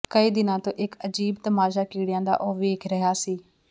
ਕਈ ਦਿਨਾਂ ਤੋਂ ਇਕ ਅਜੀਬ ਤਮਾਸ਼ਾ ਕੀੜਿਆਂ ਦਾ ਉਹ ਵੇਖ ਰਿਹਾ ਸੀ